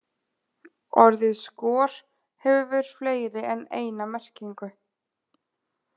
Orðið skor hefur fleiri en eina merkingu.